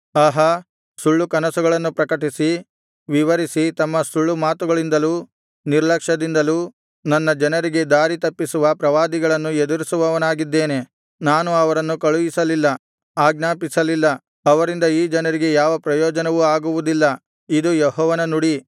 ಆಹಾ ಸುಳ್ಳು ಕನಸುಗಳನ್ನು ಪ್ರಕಟಿಸಿ ವಿವರಿಸಿ ತಮ್ಮ ಸುಳ್ಳು ಮಾತುಗಳಿಂದಲೂ ನಿರ್ಲಕ್ಷದಿಂದಲೂ ನನ್ನ ಜನರಿಗೆ ದಾರಿತಪ್ಪಿಸುವ ಪ್ರವಾದಿಗಳನ್ನು ಎದುರಿಸುವವನಾಗಿದ್ದೇನೆ ನಾನು ಅವರನ್ನು ಕಳುಹಿಸಲಿಲ್ಲ ಆಜ್ಞಾಪಿಸಲಿಲ್ಲ ಅವರಿಂದ ಈ ಜನರಿಗೆ ಯಾವ ಪ್ರಯೋಜನವೂ ಆಗುವುದಿಲ್ಲ ಇದು ಯೆಹೋವನ ನುಡಿ